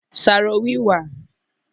Sarowiwa